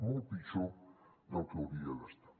molt pitjor del que hauria d’estar